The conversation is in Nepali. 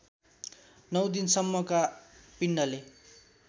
नौ दिनसम्मका पिण्डले